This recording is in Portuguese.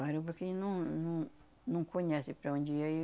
Parou porque ele não não não conhece para onde ia aí